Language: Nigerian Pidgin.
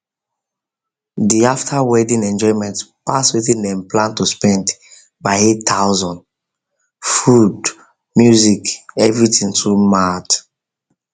the after after wedding enjoyment pass wetin dem plan to spend by 8000 food music everything too mad